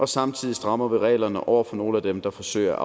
samtidig strammer reglerne over for nogle af dem der forsøger at